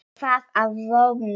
Er það að vonum.